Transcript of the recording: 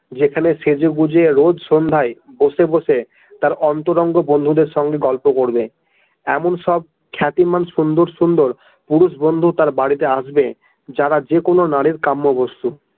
যেখানে সেজে গুঁজে রোজ সন্ধ্যায় বসে বসে তার অন্তরঙ্গ বন্ধুদের সঙ্গে গল্প করবে, এমন সব খ্যাতিমান সুন্দর সুন্দর পুরুষ বন্ধু তার বাড়িতে আসবে যারা যে কোনো নারীর কাম্য বস্তু।